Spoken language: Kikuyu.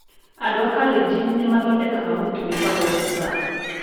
Andũ a Kalenjin nĩ mathondekaga mũtu wĩtagwo busaa.